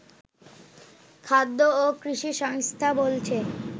খাদ্য ও কৃষি সংস্থা বলছে